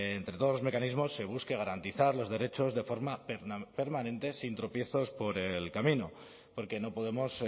entre todos los mecanismos se busque garantizar los derechos de forma permanente sin tropiezos por el camino porque no podemos